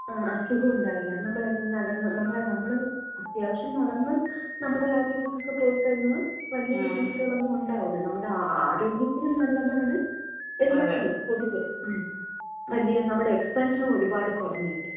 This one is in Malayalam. ആ അസുഖോം ഉണ്ടാകില്ല. നമ്മളെന്നും നടന്ന് നമ്മള് , നമ്മള് അത്യാവശ്യം നടന്ന് നമ്മട കാര്യങ്ങക്കൊക്കെ പോയിക്കഴിഞ്ഞാ വലിയ ബുദ്ധിമുട്ടുകളൊന്നും ഉണ്ടാകൂല. നമ്മുടെ ആരോഗ്യത്തിനും നല്ലതാണ്. എല്ലാത്തിനും. പൊതുവെ. വലിയ നമ്മുടെ എക്സ്പെൻസും ഒരുപാട് കൊറഞ്ഞ് കിട്ടും.